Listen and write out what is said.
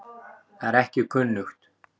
Það er ekki kunnugt.